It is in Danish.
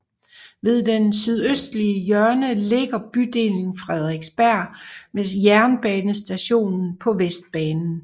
Ved det sydøstlige hjørne ligger bydelen Frederiksberg med jernbanestation på Vestbanen